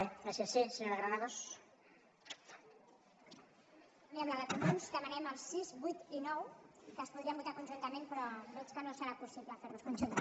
bé en la de comuns demanem els sis vuit i nou que es podrien votar conjuntament però veig que no serà possible fer los conjuntament